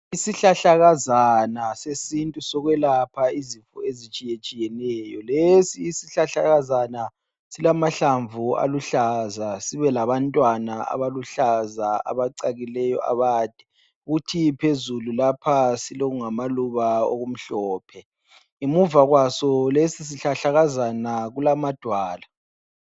Isihlahlakaza sesintu sokwelapha izifo ezitshiyetshiyeneyo, lesi isihlahlakazana silamahlamvu aluhlaza sibelabantwana abaluhlaza abacakileyo abade kuthi phezulu lapha silokungamaluba amhlophe ngemuva kwaso lesi sihlahlakazana kulamadwala.